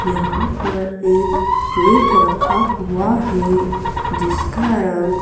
यहां पर एक केक रखा हुआ है जिसका रंग--